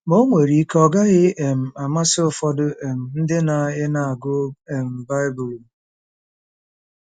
Ma o nwere ike ọ gaghị um amasị ụfọdụ um ndị na ị na-agụ um Baịbụl.